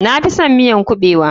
Na fison miyan kuɓewa.